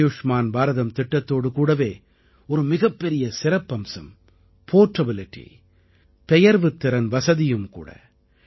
ஆயுஷ்மான் பாரதம் திட்டத்தோடு கூடவே ஒரு மிகப்பெரிய சிறப்பம்சம் portabilityபெயர்வுத்திறன் வசதியும் கூட